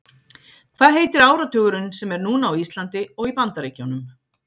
Hvaða heitir áratugurinn sem er núna á Íslandi og í Bandaríkjunum?